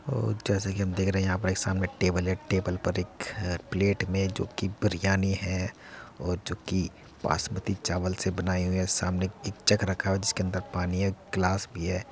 और जैसा कि हम देख रहे है यहाँ पर सामने एक टेबल है। टेबल पर एक प्लेट में जोकि बिरयानी है और जोकि बासमती चावल से बनाई हुई है सामने एक जग रखा है जिसके अंदर पानी है गिलास भी है।